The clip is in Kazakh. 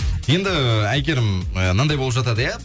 енді әйгерім ы мынандай болып жатады иә